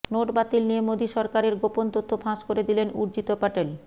নোটবাতিল নিয়ে মোদী সরকারের গোপন তথ্য ফাঁস করে দিলেন উর্জিত পটেল